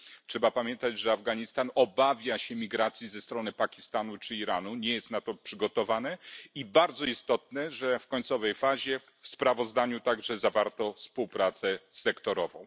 Trzeba pamiętać, że Afganistan obawia się migracji ze strony Pakistanu czy Iranu nie jest na to przygotowany. I bardzo istotne, że w końcowej fazie w sprawozdaniu także zawarto współpracę sektorową.